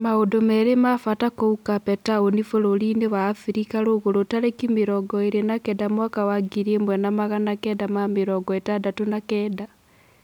Maũndũ merĩ ma-bata kũu Kape Taũni bũrũriinĩ wa-Afirika Rũgũrũ tarĩki mĩrongoĩrĩ na-kenda mwaka wa ngiri ĩmwe na magana kenda ma-mirongo ĩtandatũ na-kenda.